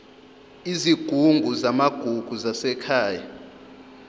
izigungu zamagugu zasekhaya